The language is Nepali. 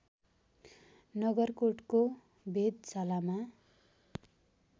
नगरकोटको वेधशालामा